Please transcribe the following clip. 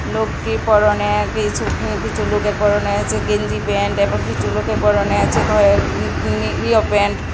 লোকটির পরনে কিছু উম কিছু লোকের পরনে আছে গেঞ্জি প্যান্ট এবং কিছু লোকের পরনে আছে ইয়ো প্যান্ট ।